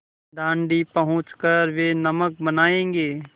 दाँडी पहुँच कर वे नमक बनायेंगे